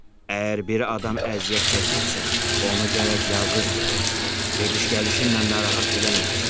Əgər bir adam əziyyət çəkirsə, onu gərək yalqız buraxasan, gediş-gəlişinlə narahat eləməyəsən.